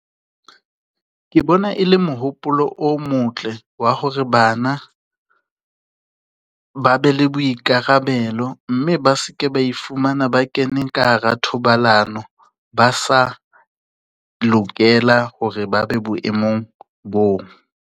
Ke bona e le mohopolo o motle wa hore bana ba be le boikarabelo mme ba se ke ba ifumana ba kene ka hara thobalano, ba sa lokela hore ba be boemong bo.